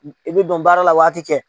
I bɛ dɔn baara la waati kɛ.